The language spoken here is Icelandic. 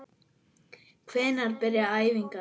Hvenær byrja æfingar?